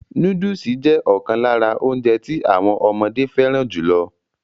Núdùsù jẹ́ ọ̀kan lára óúnjẹ tí àwọn ọmọdé fẹràn jùlọ.